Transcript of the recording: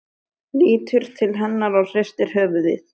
Lítur til hennar og hristir höfuðið.